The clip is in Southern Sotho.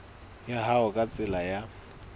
ya hao ka tsela ya